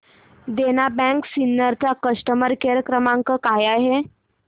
देना bank Sinnar चा customer care क्रमांक काय आहे